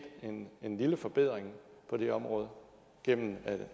en lille forbedring på det område gennem